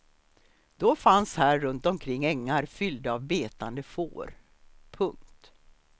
Då fanns här runt omkring ängar fyllda av betande får. punkt